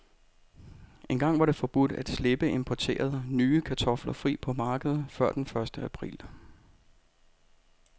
Engang var det forbudt at slippe importerede, nye kartofler fri på markedet før den første april.